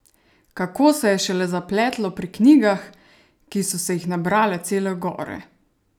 Kako se je šele zapletlo pri knjigah, ki so se jih nabrale cele gore!